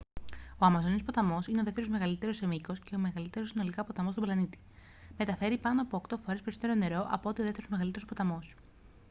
ο αμαζόνιος ποταμός είναι ο δεύτερος μεγαλύτερος σε μήκος και ο μεγαλύτερος συνολικά ποταμός στον πλανήτη. μεταφέρει πάνω από 8 φορές περισσότερο νερό από ό,τι ο δεύτερος μεγαλύτερος ποταμός